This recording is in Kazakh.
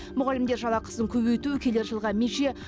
мұғалімдер жалақысын көбейту келер жылғы меже